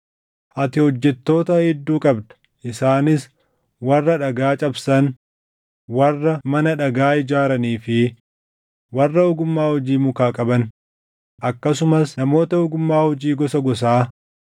Ati hojjettoota hedduu qabda; isaanis: warra dhagaa cabsan, warra mana dhagaa ijaaranii fi warra ogummaa hojii mukaa qaban, akkasumas namoota ogummaa hojii gosa gosaa,